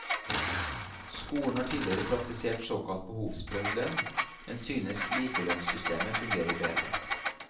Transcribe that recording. Skolen har tidligere praktisert såkalt behovsprøvd lønn, men synes likelønnssystemet fungerer bedre.